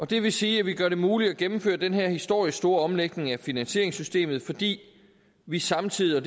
det vil sige at vi gør det muligt at gennemføre den her historisk store omlægning af finansieringssystemet fordi vi samtidig